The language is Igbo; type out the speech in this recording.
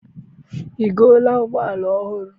I goola ụgbọala ọhụrụ?